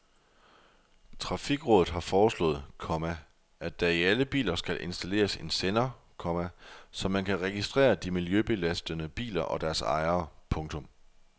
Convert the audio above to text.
Trafikrådet har foreslået, komma at der i alle biler skal installeres en sender, komma så man kan registrere de miljøbelastende biler og deres ejere. punktum